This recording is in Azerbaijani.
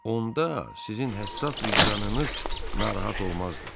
Onda sizin həssas vicdanınız narahat olmazdı.